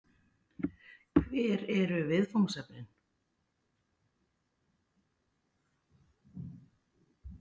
Hver eru viðfangsefnin?